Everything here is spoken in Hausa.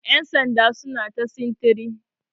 yansanda suna ta sintiri